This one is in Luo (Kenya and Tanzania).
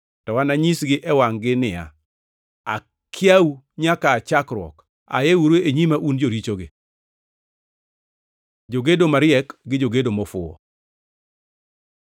To ananyisgi e wangʼ-gi ni, ‘Akiau nyaka aa chakruok, ayeuru e nyima, un jorichogi!’ Jogedo mariek gi jogedo mofuwo